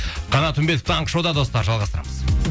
қанат үмбетов таңғы шоуда достар жалғастырамыз